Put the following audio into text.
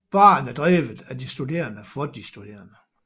Baren er drevet af de studerende for de studerende